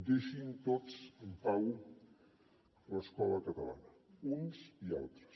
deixin tots en pau l’escola catalana uns i altres